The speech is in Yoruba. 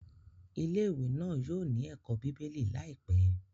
Ilé-ìwé náà yóò ní ẹ̀kọ́ bíbélì láìpẹ́.